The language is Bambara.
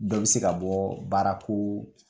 Dɔ bi se ka bɔ baara ko